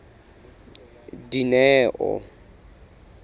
dineo